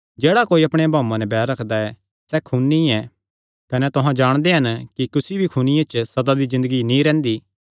जेह्ड़ा कोई अपणे भाऊये नैं बैर रखदा ऐ सैह़ खूनी ऐ कने तुहां जाणदे हन कि कुसी भी खूनिये च सदा दी ज़िन्दगी नीं रैंह्दी